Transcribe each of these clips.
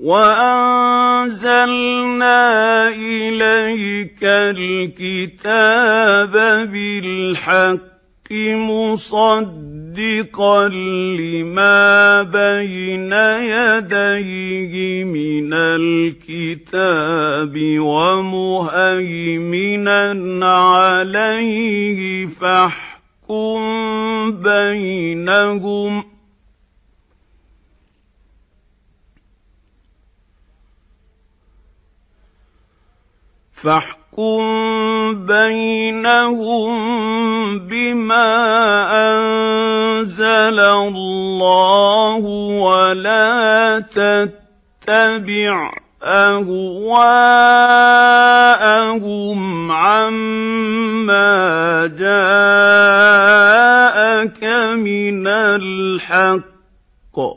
وَأَنزَلْنَا إِلَيْكَ الْكِتَابَ بِالْحَقِّ مُصَدِّقًا لِّمَا بَيْنَ يَدَيْهِ مِنَ الْكِتَابِ وَمُهَيْمِنًا عَلَيْهِ ۖ فَاحْكُم بَيْنَهُم بِمَا أَنزَلَ اللَّهُ ۖ وَلَا تَتَّبِعْ أَهْوَاءَهُمْ عَمَّا جَاءَكَ مِنَ الْحَقِّ ۚ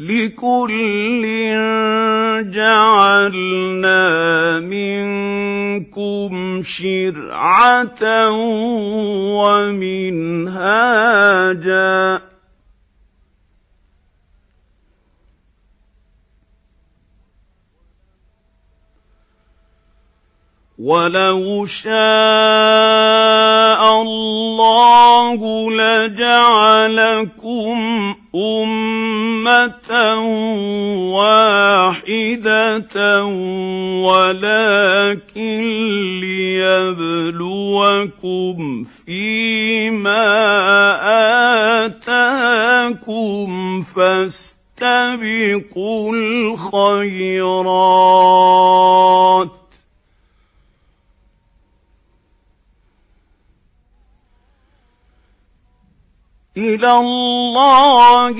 لِكُلٍّ جَعَلْنَا مِنكُمْ شِرْعَةً وَمِنْهَاجًا ۚ وَلَوْ شَاءَ اللَّهُ لَجَعَلَكُمْ أُمَّةً وَاحِدَةً وَلَٰكِن لِّيَبْلُوَكُمْ فِي مَا آتَاكُمْ ۖ فَاسْتَبِقُوا الْخَيْرَاتِ ۚ إِلَى اللَّهِ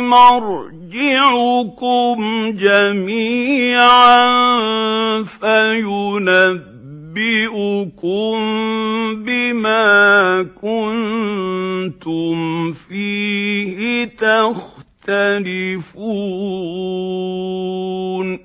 مَرْجِعُكُمْ جَمِيعًا فَيُنَبِّئُكُم بِمَا كُنتُمْ فِيهِ تَخْتَلِفُونَ